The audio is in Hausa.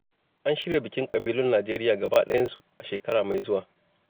An shirya bikin ƙabilun Nijeriya gaba ɗayansu, a shekara mai zuwa.